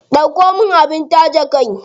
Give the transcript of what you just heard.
Ɗauko min abin taje kai.